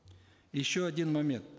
еще один момент